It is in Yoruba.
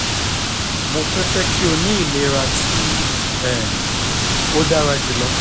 mo fẹ fẹ ki o ni ilera ti um o dara julọ